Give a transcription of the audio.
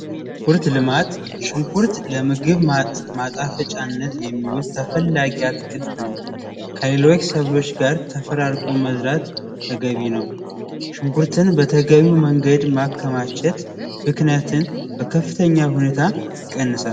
ሽንኩርት ልማት ሽንኩርት ለምግብ ማጣፈጫነት የሚውል ተፈላጊ አትክልት ነው። ከሌሎች ሰብሎች ጋር ተፈራርቆ መዝራት ተገቢ ነው ሽንኩርትን በተገቢው መንገድ ማከማቸት ብክነትን በከፍተኛ ሁኔታ ይቀንሳል።